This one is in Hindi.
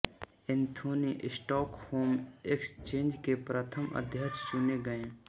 एंथोनी स्टॉकहोम एक्सचेंज के प्रथम अध्यक्ष चुने गए